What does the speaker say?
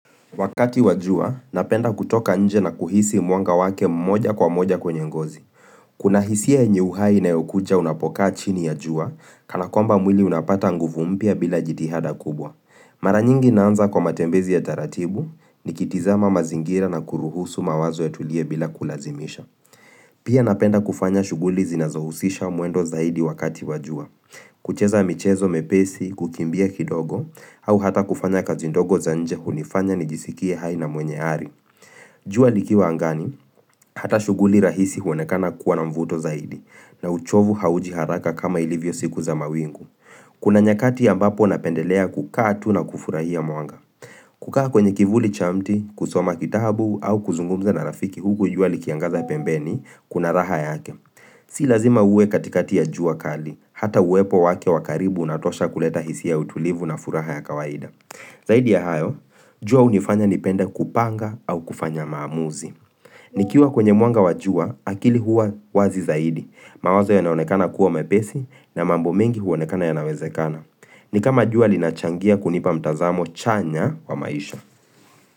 Wakati wa jua, napenda kutoka nje na kuhisi mwanga wake mmoja kwa moja kwenye ngozi. Kuna hisia yenye uhai inayokuja unapokaa chini ya jua, kana kwamba mwili unapata nguvu mpya bila jitihada kubwa. Mara nyingi naanza kwa matembezi ya taratibu nikitizama mazingira na kuruhusu mawazo yatulie bila kulazimisha. Pia napenda kufanya shuguli zinazohusisha mwendo zaidi wakati wa jua. Kucheza michezo mepesi, kukimbia kidogo au hata kufanya kazi ndogo za nje hunifanya nijisikie haina mwenye ari jua likiwa angani, hata shughuli rahisi huonekana kuwa na mvuto zaidi na uchovu hauji haraka kama ilivyo siku za mawingu Kuna nyakati ambapo napendelea kukaa tu na kufurahia mwanga kukaa kwenye kivuli cha mti, kusoma kitabu au kuzungumza na rafiki huku jua likiangaza pembeni kuna raha yake Si lazima uwe katikati ya jua kali, hata uwepo wake wa karibu unatosha kuleta hisia ya utulivu na furaha ya kawaida Zaidi ya hayo, jua hunifanya nipenda kupanga au kufanya maamuzi nikiwa kwenye mwanga wa jua, akili huwa wazi zaidi. Mawazo yanaonekana kuwa mepesi na mambo mengi huonekana yanawezekana ni kama jua linachangia kunipa mtazamo chanya wa maisha.